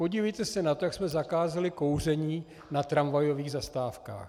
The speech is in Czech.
Podívejte se na to, jak jsme zakázali kouření na tramvajových zastávkách.